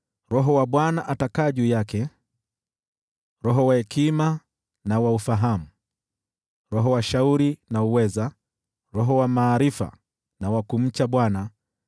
Roho wa Bwana atakaa juu yake, Roho wa hekima na wa ufahamu, Roho wa shauri na wa uweza, Roho wa maarifa na wa kumcha Bwana